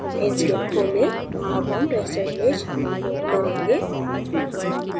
inkscape खोलें अब हम raster image import करेंगे